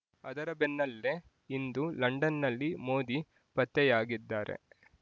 ಅದರ ಬೆನ್ನಲ್ಲೆ ಇಂದು ಲಂಡನ್‌ನಲ್ಲಿ ಮೋದಿ ಪತ್ತೆಯಾಗಿದ್ದಾರೆ